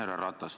Härra Ratas!